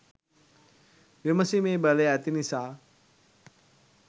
විමසීමේ බලය ඇති නිසා